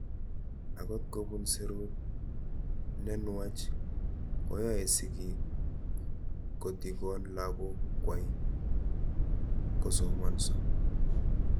Akot kopun serut nenuach koyae sigik kotikon lakok kwai kosomanso